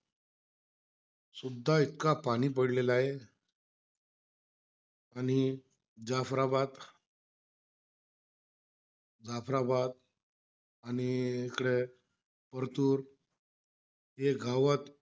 सुद्धा इतका पाणी पडलेला आहे. आणि जाफराबाद जाफराबाद आणि इकडे वरतून, हे गावात,